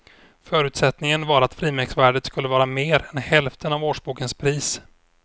Förutsättningen var att frimärksvärdet skulle vara mer än hälften av årsbokens pris.